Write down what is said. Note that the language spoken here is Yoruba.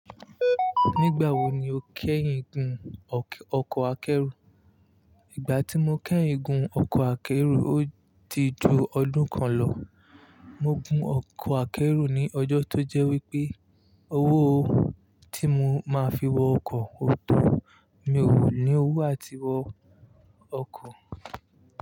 Nígbà wo ni o kẹ́yìn gun ọkọ̀ akẹ́rù? Ìgbà tí mo kẹ́yìn gun ọkọ̀ akẹ́rù, ó ti ju ọdún kan lọ. Mo gun ọkọ̀ akẹ́rù ní ọjọ́ tó jẹ́ wípé owó tí mo máa fi wọ ọkọ̀ ò tó. Mi ò ní owó àti wọ ọkọ̀